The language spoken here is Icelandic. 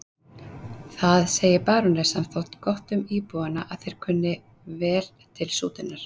Það segir barónessan þó gott um íbúana að þeir kunna vel til sútunar.